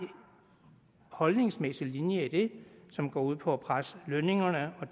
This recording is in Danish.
holdningsmæssig linje i det som går ud på at presse lønningerne og